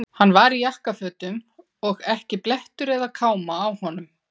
Hann var í jakkafötum og ekki blettur eða káma á honum.